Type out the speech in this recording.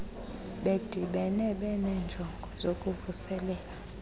bedibene benenjongo zokuvuselela